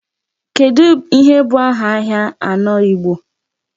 Kedu ihe bụ aha ahịa anọ Igbo?